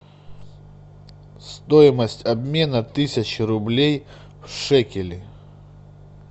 стоимость обмена тысячи рублей в шекели